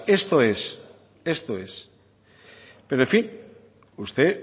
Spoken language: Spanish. esto es pero en fin usted